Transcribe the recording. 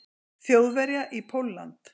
Þjóðverja í Pólland.